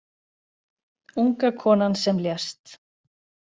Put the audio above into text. Unga konan sem lést